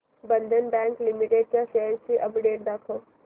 बंधन bank limited च्या shares ची update दाखव